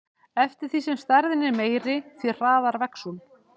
Eftir því sem stærðin er meiri, því hraðar vex hún.